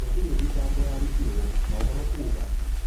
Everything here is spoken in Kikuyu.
Gũtirĩ thitago yarutirwo, maũhoro kuga